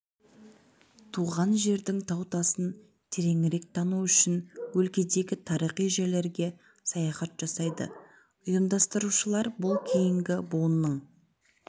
туған жердің тау-тасын тереңірек тану үшін өлкедегі тарихи жерлерге саяхат жасайды ұйымдастырушылар бұл кейінгі буынның